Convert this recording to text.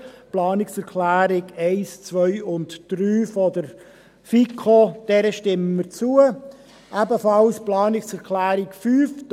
Den Planungserklärungen 1, 2 und 3 der FiKo stimmen wir zu, ebenfalls der Planungserklärung 5.